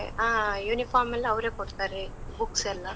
ಆ uniform ಎಲ್ಲ ಅವ್ರೇ ಕೊಡ್ತರೆ, books ಎಲ್ಲ.